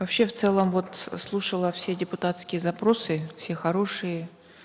вообще в целом вот слушала все депутатские запросы все хорошие